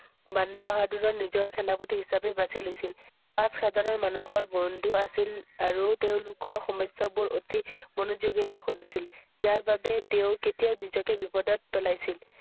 বান বাহাদুৰৰ নিজৰ সেনাপতি হিচাপে বাছি লৈছিল। পাছ হাজাৰৰ মানুহৰ বন্ধু আছিল আৰু তেওঁলোকৰ সমস্যাবোৰ অতি মনোযোগেৰ শুনিছিল। যাৰ বাবে তেওঁ নিজকে কেতিয়াও বিপদত পেলাইছিল।